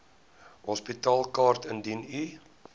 hospitaalkaart indien u